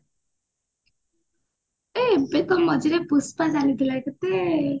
ଏ ମଝିରେ ପୁଷ୍ପା